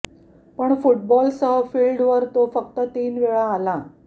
पण फुटबॉल सह फील्ड वर तो फक्त तीन वेळा आला